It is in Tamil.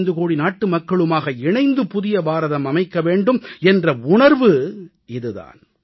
125 கோடி நாட்டுமக்களுமாக இணைந்து புதிய பாரதம் அமைக்க வேண்டும் என்ற உணர்வு இது தான்